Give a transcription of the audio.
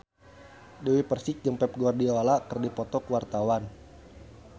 Dewi Persik jeung Pep Guardiola keur dipoto ku wartawan